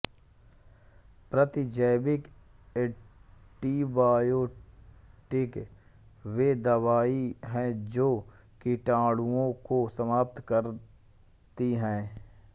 प्रतिजैविक ऐंटीबायोटिक वे दवाएं हैं जो जीवाणुओंको समाप्त करती हैं